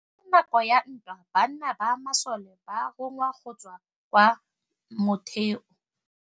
Ka nakô ya dintwa banna ba masole ba rongwa go tswa kwa mothêô.